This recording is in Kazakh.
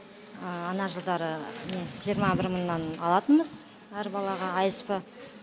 ана жылдары жиырма мыңнан алатынбыз әр балаға асп